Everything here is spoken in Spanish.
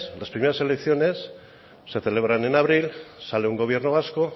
las primeras elecciones se celebran en abril sale un gobierno vasco